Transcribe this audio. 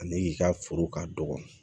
Ani i ka foro ka dɔgɔ